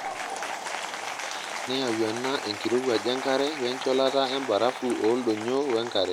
Neyau ena enkirowuaj enkare wencholata embarafu ooldonyio wenkare.